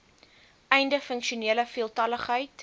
einde funksionele veeltaligheid